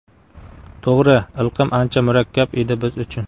To‘g‘ri, ilqim ancha murakkab edi biz uchun.